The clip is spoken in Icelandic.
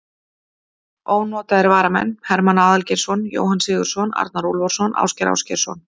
Ónotaðir varamenn: Hermann Aðalgeirsson, Jóhann Sigurðsson, Arnar Úlfarsson, Ásgeir Ásgeirsson.